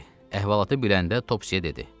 Əhvalatı biləndə Topsyə dedi: